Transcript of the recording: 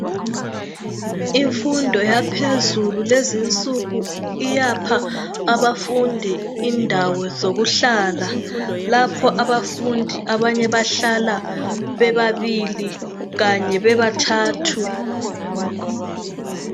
Imfundo yaphezulu lezinsuku iyapha abafundi indawo zokuhlala. Lapho abafundi abanye bahlala bebabili kanye bebathathu.